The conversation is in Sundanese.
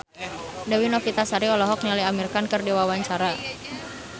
Dewi Novitasari olohok ningali Amir Khan keur diwawancara